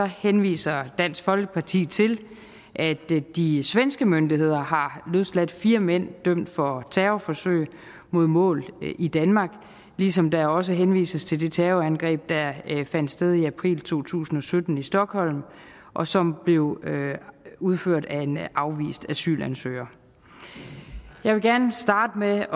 henviser dansk folkeparti til at de svenske myndigheder har løsladt fire mænd dømt for terrorforsøg mod mål i danmark ligesom der også henvises til det terrorangreb der fandt sted i april to tusind og sytten i stockholm og som blev udført af en afvist asylansøger jeg vil gerne starte med